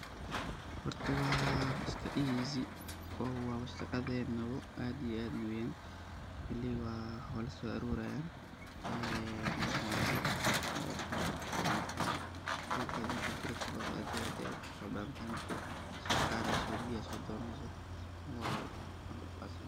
Hoorta wa iska easy wa shaqatheyna aad iyo aad weeyan wali wayso aroorayan Wana loo so socotoh, oo maaragtay duurkeet margat kaeeysoh aad Aya ufarabathantahay areeysh beeya sodononeysah waaw.